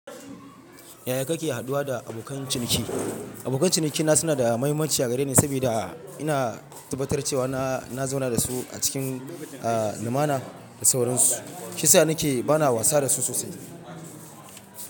Yaya kake haduwa da abokan ciniki? Abokan cinikina suna da mahimmanci a gare ni saboda ina tabbatar cewa na zauna da su a cikin, a, lumana da sauransu, shi yasa nake ba na wasa da su sosai.